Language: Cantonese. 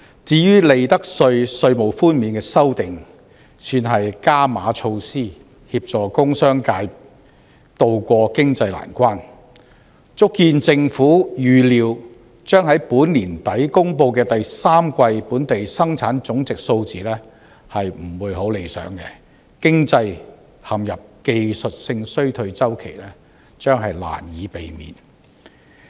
至於利得稅稅務寬免的修訂，算是"加碼"措施協助工商界渡過經濟難關，足見政府預料，將在本年年底公布的第三季本地生產總值數字不會太理想，經濟陷入技術性衰退周期將難以避免。